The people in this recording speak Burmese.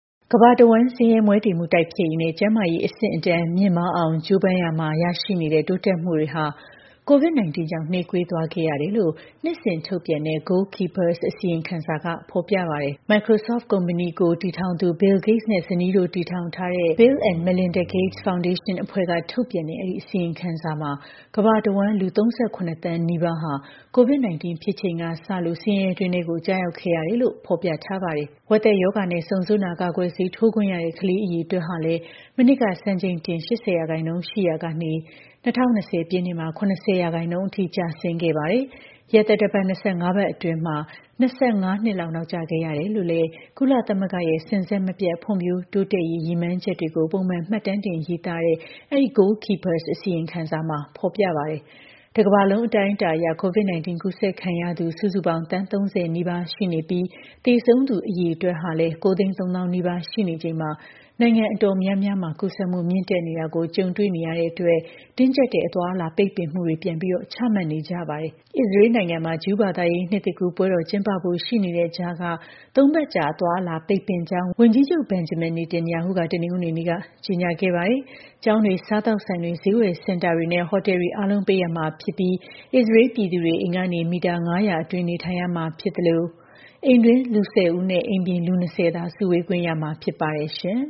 ကမ္ဘာတစ်ဝန်း ဆင်းရဲ မွဲတေမှု တိုက်ဖျက်ရေးနဲ့ ကျန်းမာရေးအဆင့်အတန်း မြင့်မားအောင် ကြိုးပမ်းရာမှာ ရရှိနေတဲ့ တိုးတက်မှုတွေဟာ COVID 19 ကြောင့် နှေးကွေးသွားခဲ့ရတယ်လို့ နှစ်စဉ် ထုတ်ပြန်တဲ့ Goalkeepers အစီရင်ခံစာက ပြောပါတယ်။ Microsoft ကုမ္ပဏီကို တည်ထောင်သူ Bill Gates နဲ့ ဇနီး တို့တည်ထောင်တားတဲ့ Bill and Melinda Gates Foundation အဖွဲ့က ထုတ်ပြန်တဲ့ အဲဒီအစီရင်ခံစာမှာ ကမ္ဘာတစ်ဝန်း လူ ၃၇ သန်းနီးပါးဟာ COVID 19 ဖြစ်ချိန်က စလို့ ဆင်းရဲတွင်းထဲကို ကျရောက်ခဲ့ရတယ်လို့ ဖော်ပြထားပါတယ်။ ဝက်သက်ရောဂါနဲ့ ဆုံဆို့နာ ကာကွယ်ဆေးထိုးခွင့်ရတဲ့ ကလေးအရေအတွက်လည်း မနှစ်က စံချိန်တင် ၈၀ ရာခိုင်နှုန်း ရှိရာကနေ ၂၀၂၀ ပြည့်နှစ်မှာ ၇၀ ရာခိုင်နှုန်းအထိ ကျဆင်းခဲ့တာပါ။ ရက်သတ္တပတ် ၂၅ ပတ်အတွင်းမှာ ၂၅ နှစ်လောက် နောက်ကျခဲ့ရတယ်လို့လည်း ကုလသမဂ္ဂရဲ့ စဉ်ဆက်မပြတ် ဖွံ့ဖြိုးတိုးတက်ရေး ရည်မှန်းချက်တွေကို ပုံမှန် မှတ်တမ်းတင်ရေးသားတဲ့ အဲဒီ Goalkeepers အစီရင်ခံစာမှာဖော်ပြပါတယ်။ တစ်ကမ္ဘာလုံး အတိုင်းအတာအရ COVID 19 ကူးစက်ခံရသူ စုစုပေါင်း သန်း ၃၀ နီးပါး ရှိလာနေပြီး သေဆုံးသူ အရေအတွက်ကလည်း ၉၃၀,၀၀၀ နီးပါး ရှိနေချိန်မှာ နိုင်ငံတော်တော်များများမှာ ကူးစက်မှု မြင့်တက်နေတာကို ကြုံတွေ့နေရလို့ တင်းကျပ်တဲ့ အသွားအလာ ပိတ်ပင်မှုတွေ ပြန်လည် ချမှတ်နေကြပါတယ်။ အစ္စရေးလ်နိုင်ငံမှာ ဂျူးဘာသာရေး နှစ်သစ်ကူးပွဲတော် ကျင်းပဖို့ ရှိနေတဲ့ကြားက ၃ ပတ်ကြာ အသွားအလာ ပိတ်ပင်ကြောင်း ဝန်ကြီးချုပ် Benjamin Netanyahu က တနင်္ဂနွေနေ့က ကြေညာခဲ့ပါတယ်။ ကျောင်းတွေ၊ စားသောက်ဆိုင်တွေ၊ ဈေးဝယ် စင်တာတွေနဲ့ ဟိုတယ်တွေ အားလုံး ပိတ်ရမှာ ဖြစ်ပြီး အစ္စရေးလ် ပြည်သူတွေ အိမ်ကနေ မီတာ ၅၀၀ အတွင်း နေထိုင်ရမှာ ဖြစ်သလို အိမ်တွင်း လူ ၁၀ ဦးနဲ အိမ်ပြင် လူ ၂၀ သာ စုဝေးခွင့်ရမှာ ဖြစ်ပါတယ်။ ပြင်